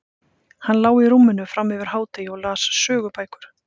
Hann lá í rúminu fram yfir hádegi og las sögubækur.